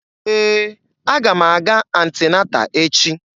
Ee, aga m aga anti-nata echi.